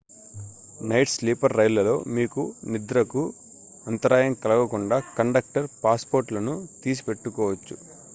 night sleeper రైళ్ళలో మీ నిద్రకు అంతరాయం కలగకుండా కండక్టర్ పాస్పోర్ట్లను తీసి పెట్టుకోవచ్చు